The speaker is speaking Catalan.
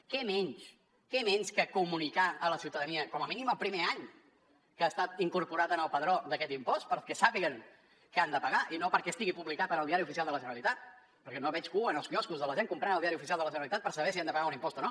què menys què menys que comunicar a la ciutadania com a mínim el primer any que ha estat incorporat en el padró d’aquest impost perquè sàpiguen que han de pagar i no perquè estigui publicat al diari oficial de la generalitat perquè no veig cua als quioscos de la gent comprant el diari oficial de la generalitat per saber si han de pagar un impost o no